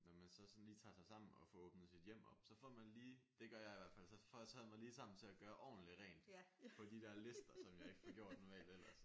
Når man så sådan lige tager sig sammen og får åbnet sit hjem op så får man lige det gør jeg i hvert fald så får jeg taget mig lige sammen til at gøre ordentligt rent på de der lister som jeg ikke får gjort normalt ellers og så